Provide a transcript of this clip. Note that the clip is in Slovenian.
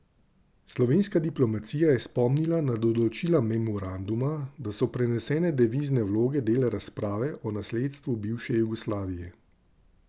Slovenska diplomacija je spomnila na določila memoranduma, da so prenesene devizne vloge del razprave o nasledstvu bivše Jugoslavije.